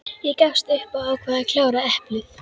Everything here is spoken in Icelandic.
Ég gafst upp og ákvað að klára eplið.